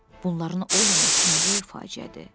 Bunların olmaması nə böyük faciədir?